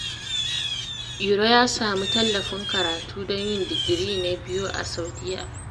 Iro ya sami tallafin karatu don yin digiri na biyu a Saudiyya.